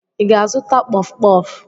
Ị ga-azụta kpọfụ kpọfụ?